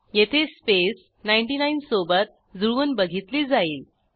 येथे स्पेस 99 सोबत जुळवून बघितली जाईल